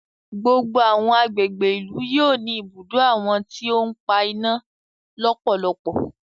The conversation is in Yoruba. Gbogbo àwọn àgbègbè ìlú yóò ní ibùdó àwọn tí o n pa iná lọpọlọpọ.